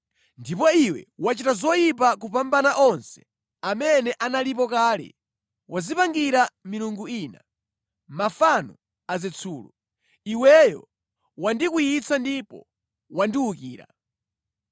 Ndipo iwe wachita zoyipa kupambana onse amene analipo kale. Wadzipangira milungu ina, mafano a zitsulo. Iweyo wandikwiyitsa ndipo wandiwukira.